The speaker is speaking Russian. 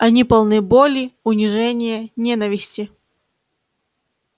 они полны боли унижения ненависти